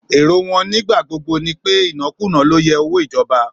Èrò wọn nígbà gbogbo ni pé, ìnákùná ló yẹ owó ìjọba.